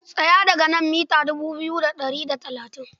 Tsaya daga nan mita dubu biyu da ɗari da talatin.